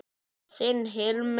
Þinn Hilmar Gauti.